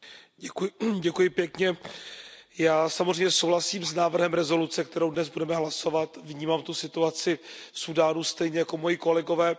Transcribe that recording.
Pane předsedající, já samozřejmě souhlasím s návrhem rezoluce, kterou dnes budeme hlasovat. Vnímám tu situaci v Súdánu stejně jako moji kolegové.